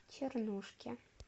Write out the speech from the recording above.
чернушке